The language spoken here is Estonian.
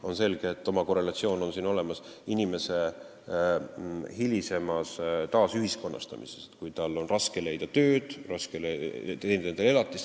On selge, et oma korrelatsioon on siin olemas inimese hilisemal taasühiskonnastamisel, kui tal on raske leida tööd ja teenida elatist.